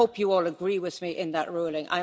I hope you all agree with me in that ruling.